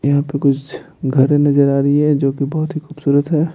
यहां पे कुछघर नजर आ रही है जो कि बहुत ही खूबसूरत है।